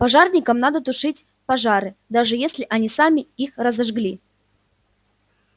пожарникам надо тушить пожары даже если они сами их разожгли